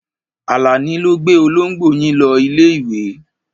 Àlàní ló gbé olóńgbò yín lọ ilé-ìwé.